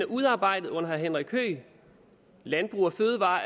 udarbejdet under herre henrik høegh landbrug fødevarer